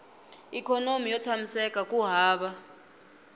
ikhonomi yo tshamiseka ku hava